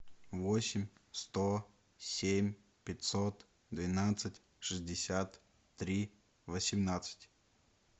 восемь сто семь пятьсот двенадцать шестьдесят три восемнадцать